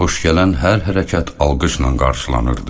Xoş gələn hər hərəkət alqışla qarşılanırdı.